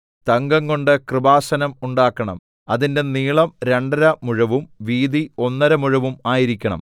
തങ്കംകൊണ്ട് കൃപാസനം ഉണ്ടാക്കണം അതിന്റെ നീളം രണ്ടര മുഴവും വീതി ഒന്നര മുഴവും ആയിരിക്കണം